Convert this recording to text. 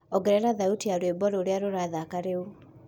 ongerera thaũtĩ ya rwĩmbo rũrĩa rurathaka riu